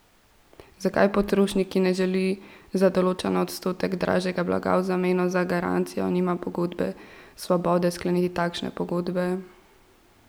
Zakaj potrošnik, ki ne želi za določen odstotek dražjega blaga v zameno za garancijo, nima pogodbene svobode skleniti takšne pogodbe?